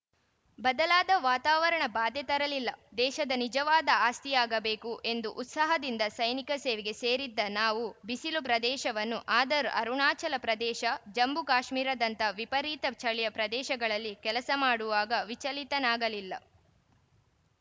ಬದಲಾದ ವಾತಾವರಣ ಬಾಧೆ ತರಲಿಲ್ಲ ದೇಶದ ನಿಜವಾದ ಆಸ್ತಿಯಾಗಬೇಕು ಎಂದು ಉತ್ಸಾಹದಿಂದ ಸೈನಿಕ ಸೇವೆಗೆ ಸೇರಿದ್ದ ನಾನು ಬಿಸಿಲು ಪ್ರದೇಶವನು ಆದರೂ ಅರುಣಾಚಲ ಪ್ರದೇಶ ಜಮ್ಮು ಕಾಶ್ಮೀರದಂತಹ ವಿಪರೀತ ಚಳಿಯ ಪ್ರದೇಶಗಳಲ್ಲಿ ಕೆಲಸ ಮಾಡುವಾಗ ವಿಚಲಿತನಾಗಲಿಲ್ಲ